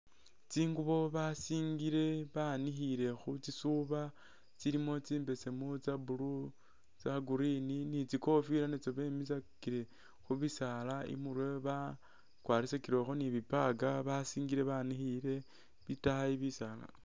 Tsinguubo basingile banikhiile khu tsisuuba tsilimo tsimbeseemu, tsa'blue tsa'green ni tsikofila natso bemisakile khubisaala imurwe bakwarisakilekho ni tsibag basisingile banikhile itayi bisaala.